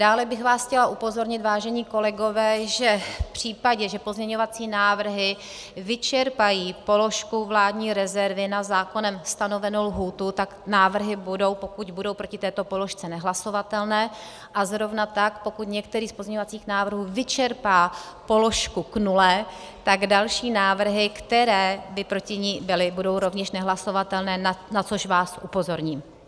Dále bych vás chtěla upozornit, vážení kolegové, že v případě, že pozměňovací návrhy vyčerpají položku vládní rezervy na zákonem stanovenou lhůtu , tak návrhy budou, pokud budou proti této položce, nehlasovatelné, a zrovna tak pokud některý z pozměňovacích návrhů vyčerpá položku k nule, tak další návrhy, které by proti ní byly, budou rovněž nehlasovatelné, na což vás upozorním.